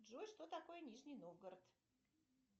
джой что такое нижний новгород